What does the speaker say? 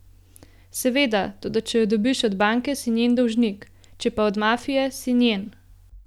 Seveda, toda če jo dobiš od banke, si njen dolžnik, če pa od mafije, si njen.